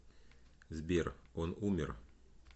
сбер он умер